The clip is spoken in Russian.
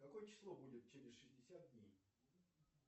какое число будет через шестьдесят дней